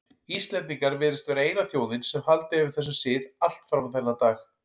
Íslendingar virðast vera eina þjóðin sem haldið hefur þessum sið allt fram á þennan dag.